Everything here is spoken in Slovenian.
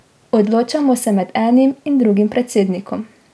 Odločamo se med enim in drugim predsednikom.